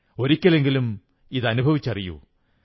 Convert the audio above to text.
ഒരിക്കലെങ്കിലും അനുഭവിച്ചറിയൂ